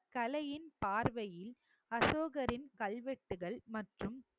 கலையின் பார்வையில் அசோகரின் கல்வெட்டுகள் மற்றும்